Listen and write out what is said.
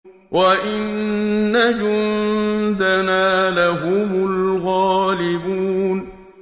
وَإِنَّ جُندَنَا لَهُمُ الْغَالِبُونَ